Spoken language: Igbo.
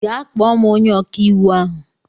Gaa kpọọ m onye ọka iwu ahụ.